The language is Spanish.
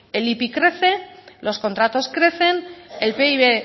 el ipi crece los contratos crecen el pib